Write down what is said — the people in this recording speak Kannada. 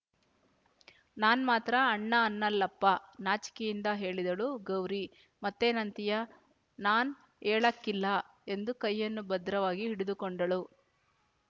ನಾನ್ ಮಾತ್ರ ಅಣ್ಣ ಅನ್ನಲ್ಲಪ್ಪ ನಾಚಿಕೆಯಿಂದ ಹೇಳಿದಳು ಗೌರಿ ಮತ್ತೇನಂತೀಯ ನಾನ್ ಯೇಳಾಕಿಲ್ಲ ಎಂದು ಕೈಯನ್ನು ಭದ್ರವಾಗಿ ಹಿಡಿದುಕೊಂಡಳು